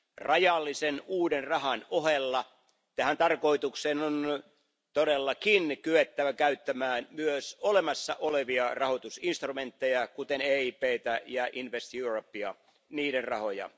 Rajallisen uuden rahan ohella tähän tarkoitukseen on todellakin kyettävä käyttämään myös olemassa olevia rahoitusinstrumentteja, kuten EIPtä ja Invest Europea, niiden rahoja.